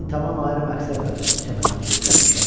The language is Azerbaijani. Mən tamam ayrı məqsədlə bu çəmənə uçub gəlmişəm.